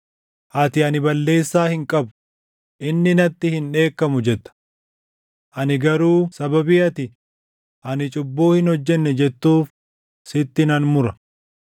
ati, ‘Ani balleessaa hin qabu; inni natti hin dheekkamu’ jetta. Ani garuu sababii ati, ‘Ani cubbuu hin hojjenne’ jettuuf, sitti nan mura.